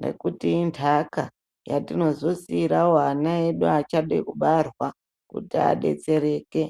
nekuti indaka yatinozo siirawo ana edu achade kubarwa kuti adetsereke.